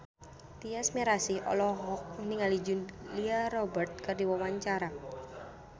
Tyas Mirasih olohok ningali Julia Robert keur diwawancara